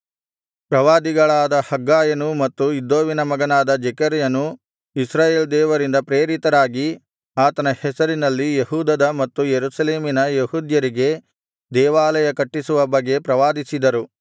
ಪ್ರವಾದಿಗಳಾದ ಹಗ್ಗಾಯನೂ ಮತ್ತು ಇದ್ದೋವಿನ ಮಗನಾದ ಜೆಕರ್ಯನೂ ಇಸ್ರಾಯೇಲ್ ದೇವರಿಂದ ಪ್ರೇರಿತರಾಗಿ ಆತನ ಹೆಸರಿನಲ್ಲಿ ಯೆಹೂದದ ಮತ್ತು ಯೆರೂಸಲೇಮಿನ ಯೆಹೂದ್ಯರಿಗೆ ದೇವಾಲಯ ಕಟ್ಟಿಸುವ ಬಗ್ಗೆ ಪ್ರವಾದಿಸಿದರು